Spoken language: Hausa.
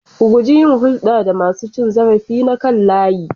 Ka guji yin hulɗa da masu cin zarafi na kan layi.